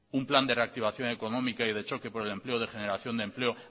un plan de reactivación económica y de choque por el empleo de generación de empleo